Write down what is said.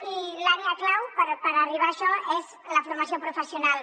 i l’àrea clau per arribar a això és la formació professional